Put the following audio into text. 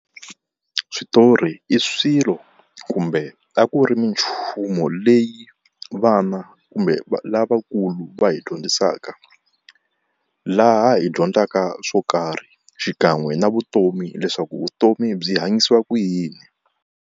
Switori i swilo kumbe a ku ri minchumu leyi vana kumbe lavakulu va hi dyondzisaka, laha hi dyondzaka swo karhi xikan'we na vutomi leswaku vutomi byi hanyisiwa ku yini?